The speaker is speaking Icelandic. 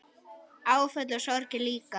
Áföll og sorgir líka.